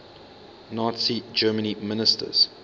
nazi germany ministers